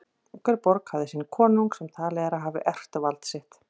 Hver borg hafði sinn konung sem talið er að hafi erft vald sitt.